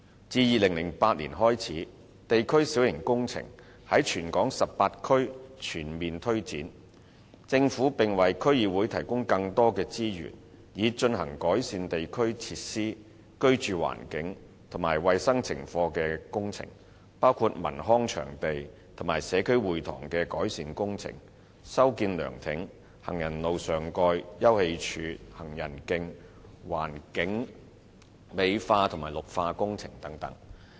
自2008年開始，地區小型工程在全港18區全面推展，政府向區議會提供更多資源，以進行改善地區設施、居住環境及衞生情況的工程，包括文康場地及社區會堂的改善工程、修建涼亭、行人路上蓋、休憩處、行人徑、環境美化及綠化工程等。